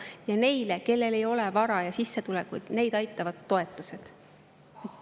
Ja neid, kellel ei ole vara ja sissetulekuid, aitavad toetused.